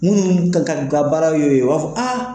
Mun ka baaraw y'o ye, u b'a fɔ aa